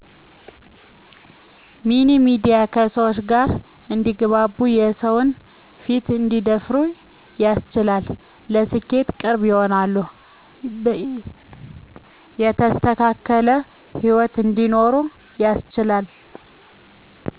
ሚኒ ሚድያ ከሰወች ጋር እንዲግባቡ የሰዉን ፊት እንዲደፍሩ ያስችላል ለስኬት ቅርብ ይሆናሉ የተስተካከለ ሂወት እንዲኖሩ ያስችላል።